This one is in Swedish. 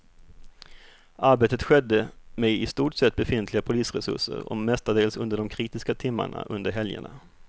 Arbetet skedde med i stort sett befintliga polisresurser och mestadels under de kritiska timmarna under helgerna.